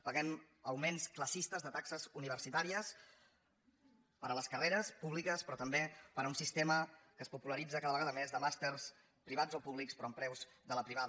paguem augments classistes de taxes universitàries per a les carreres públiques però també per a un sistema que es popularitza cada vegada més de màsters privats o públics però amb preus de la privada